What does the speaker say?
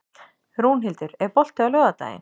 Rúnhildur, er bolti á laugardaginn?